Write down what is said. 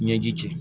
Ɲɛji cɛ